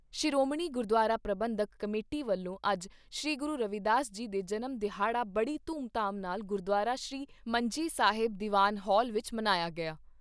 Shiromani Gurdwara Parbandhak committee ਵਲੋਂ ਅੱਜ ਸ਼੍ਰੀ ਗੁਰੂ ਰਵੀਦਾਸ ਜੀ ਦੇ ਜਨਮ ਦਿਹਾੜਾ ਬੜੀ ਧੂਮ ਧਾਮ ਨਾਲ਼ ਗੁਰੂਦੁਆਰਾ ਸ਼੍ਰੀ ਮੰਜੀ ਸਾਹਿਬ ਦੀਵਾਨ ਹਾਲ ਵਿਚ ਮਨਾਇਆ ਗਿਆ।